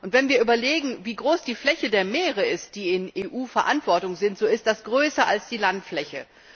Wenn wir überlegen, wie groß die Fläche der Meere ist, die in EU Verantwortung sind, so ist das größer als die Landfläche.